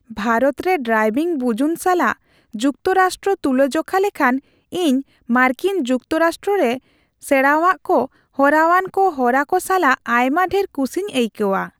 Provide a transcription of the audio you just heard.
ᱵᱷᱟᱨᱚᱛ ᱨᱮ ᱰᱨᱟᱭᱵᱷᱤᱝ ᱵᱩᱡᱩᱱ ᱥᱟᱞᱟᱜ ᱡᱩᱠᱛᱚ ᱨᱟᱥᱴᱨᱚ ᱛᱩᱞᱟ ᱡᱚᱠᱷᱟ ᱞᱮᱠᱷᱟᱱ ᱤᱧ ᱢᱟᱨᱠᱤᱱ ᱡᱩᱠᱛᱚ ᱨᱟᱥᱴᱨᱚ ᱨᱮ ᱥᱮᱬᱟᱣᱟ ᱠᱚ ᱦᱚᱨᱟᱣᱟᱱ ᱦᱚᱨᱟ ᱠᱚ ᱥᱟᱞᱟᱜ ᱟᱭᱢᱟ ᱰᱷᱮᱨ ᱠᱩᱥᱤᱧ ᱟᱹᱭᱠᱟᱹᱣᱟ ᱾